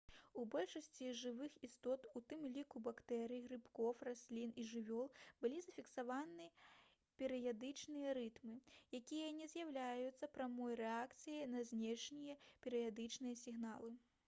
у большасці жывых істот у тым ліку бактэрый грыбкоў раслін і жывёл былі зафіксаваны перыядычныя рытмы якія не з'яўляюцца прамой рэакцыяй на знешнія перыядычныя сігналы